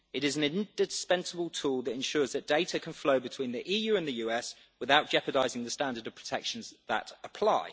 It is an indispensable tool that ensures that data can flow between the EU and the US without jeopardising the standard of protections that apply.